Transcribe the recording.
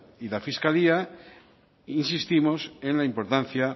y la fiscalía insistimos en la importancia